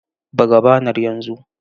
Buga banar yanzu!